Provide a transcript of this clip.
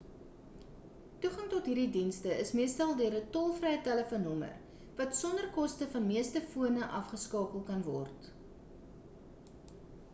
toegang tot hierdie dienste is meestal deur 'n tol-vrye telefoonnommer wat sonder koste van meeste fone af geskakel kan word